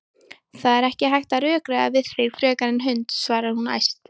Það er ekki hægt að rökræða við þig frekar en hund, svarar hún æst.